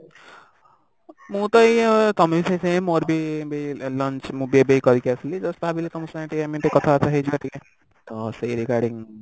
ମୁ ତ ଏଇ ତମେ ତ ସେଇ same ମୋର ବି ବି lunch ମୁଁ ବି ଏବେ ଏଇ କରକି ଆସିଲି just ଭାବିଲି ତମ ସାଙ୍ଗେ ଟିକେ ଏମିତି କଥାବାର୍ତା ହେଇଯିବା ତ ସେଇ regarding